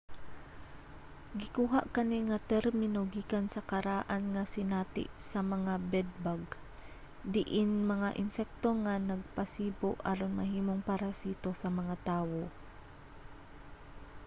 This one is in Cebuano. gikuha kani nga termino gikan sa karaan nga sinati sa mga bed-bug diin mga insekto nga nagpasibo aron mahimong parasito sa mga tawo